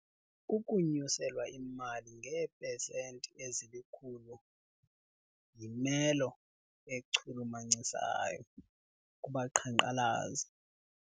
Ukunyuselwa imali ngeepesenti ezilikhulu yimelo echulumachisayo kubaqhankqalazi.